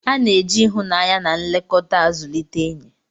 A na-eji ịhụnanya na nlekọta zụlite enyi.